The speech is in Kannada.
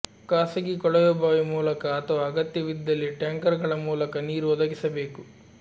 ಖಾಸಗಿ ಕೊಳವೆಬಾವಿ ಮೂಲಕ ಅಥವಾ ಅಗತ್ಯವಿದ್ದಲ್ಲಿ ಟ್ಯಾಂಕರ್ ಗಳ ಮೂಲಕ ನೀರು ಒದಗಿಸಬೇಕು